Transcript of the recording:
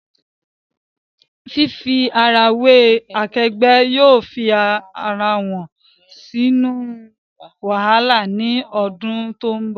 Fifi ara we akegbe yóò fi awọn wẹrẹ sinu wahala ni awọn odun to nbo